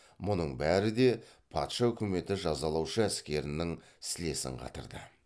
мүның бәрі де патша үкіметі жазалаушы әскерінің сілесін қатырды